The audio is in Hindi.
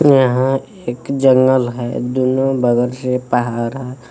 यहां एक जंगल है दोनों बगल से पहाड़ है।